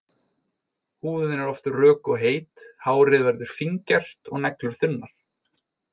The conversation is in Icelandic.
Húðin er oft rök og heit, hárið verður fíngert og neglur þunnar.